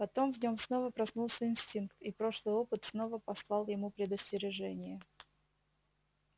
потом в нём снова проснулся инстинкт и прошлый опыт снова послал ему предостережение